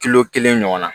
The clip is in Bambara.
Kilo kelen ɲɔgɔn na